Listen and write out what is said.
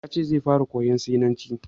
Ya ce zai fara koyan sinanci.